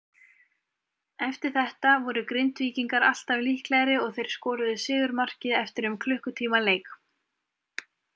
Eftir þetta voru Grindvíkingar alltaf líklegri og þeir skoruðu sigurmarkið eftir um klukkutíma leik.